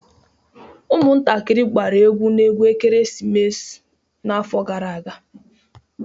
Ụmụntakịrị na-agba egwu ekeresimesi n'afọ gara aga